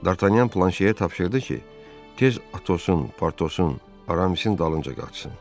Dartanyan Planşeyə tapşırdı ki, tez Atosun, Partosun, Aramisin dalınca qaçsın.